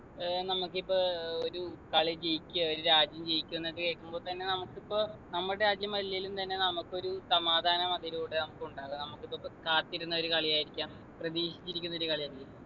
ഏർ നമുക്കിപ്പൊ ഏർ ഒരു കളി ജയിക്കാ ഒരു രാജ്യം ജയിച്ചുന്നൊക്കെ കേൾക്കുമ്പൊ തന്നെ നമുക്കിപ്പോ നമ്മുടെ രാജ്യം അല്ലെലും തന്നെ നമുക്ക് ഒരു സമാധാനം അതിലൂടെ നമുക്കുണ്ടാവ നമുക്കിതൊക്കെ കാത്തിരുന്ന ഒരു കളി ആയിരിക്കാം പ്രതീക്ഷിച്ചിരിക്കുന്ന ഒരു കളിയായിരിക്കും